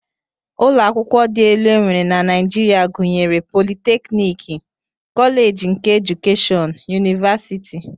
Ụlọakwụkwọ dị elu e nwere na Naijiria gụnyere politeknik, koleeji keedukeshọn, yunivasiti